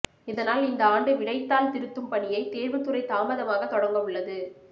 இதனால் இந்த ஆண்டு விடைத்தாள் திருத்தும் பணியை தேர்வுத் துறை தாமதமாக தொடங்க உள்ளது